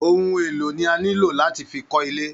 Ohun elo ni a nilo lati fi kó ilé.